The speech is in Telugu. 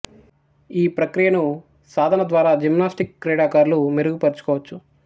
ఈ ప్రక్రియను సాధన ద్వారా జిమ్నాస్టిక్ క్రీడాకారులు మెరుగు పరుచుకోవచ్చు